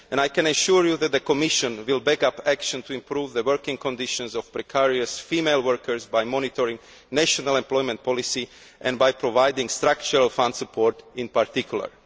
I can assure you that the Commission will back up action to improve the working conditions of precarious female workers by monitoring national employment policy and by providing structural fund support in particular.